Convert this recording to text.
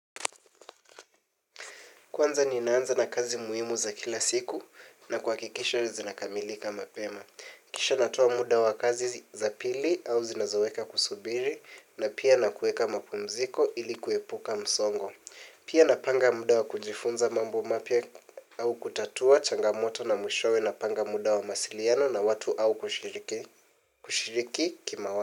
Kwanza ninaanza na kazi muhimu za kila siku na kuhakikisha zinakamilika mapema. Kisha natoa muda wa kazi za pili au zinazoeka kusubiri na pia na kuweka mapumziko ili kuepuka msongo. Pia napanga muda wa kujifunza mambo mapya au kutatua changamoto na mwishowe napanga muda wa mawasiliano na watu au kushiriki kima watu.